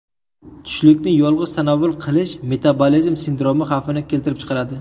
Tushlikni yolg‘iz tanovvul qilish metabolizm sindromi xavfini keltirib chiqaradi.